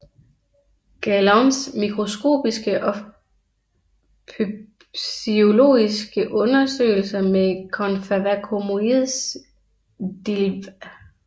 Gaillons mikroskopiske og pbysiologiske Undersøgelser med Conferva comoides Dillw